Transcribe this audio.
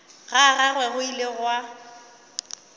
ga gagwe go ile gwa